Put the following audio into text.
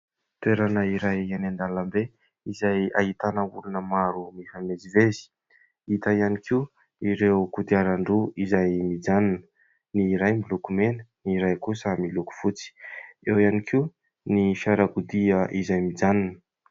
Toerana iray eny an-dalambe izay ahitana olona maro mifamezivezy. Hita ihany koa ireo kodiarandroa izay mijanona : ny iray miloko mena, ny iray kosa miloko fotsy. Eo ihany koa ny fiarakodia izay mijanona.